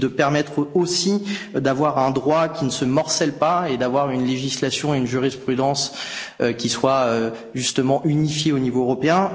Il permet aussi d'avoir un droit qui ne se morcelle pas et d'avoir une législation et une jurisprudence qui soient justement unifiées au niveau européen.